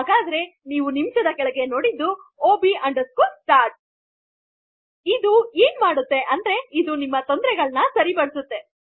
ಅದಕ್ಕೆ ನೀವು ನಿಮಿಷದ ಕೆಳಗೆ ನೋಡಿದ ಆಗೆ ಅದು ಅಬ್ ಅಂಡರ್ಸ್ಕೊರ್ ಸ್ಟಾರ್ಟ್ ಇದು ಏನು ಮಾಡುವುದೆಂದರೆ ಇದು ನಿಮ ತೊಂದರೆಯನ್ನು ಸರಿಪಡಿಸುತ್ತದೆ